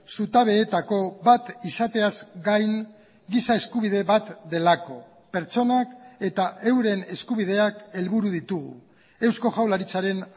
zutabeetako bat izateaz gain giza eskubide bat delako pertsonak eta euren eskubideak helburu ditugu eusko jaurlaritzaren